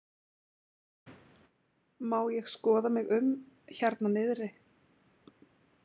Má ég skoða mig um hérna niðri?